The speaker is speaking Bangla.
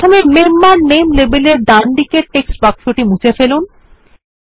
প্রথমে মেম্বার নামে লেবেলের ডানদিকের টেক্সট বাক্সটি মুছে ফেলুন